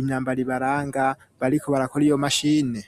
imyambaro ibaranga bariko barakora iyo mashine.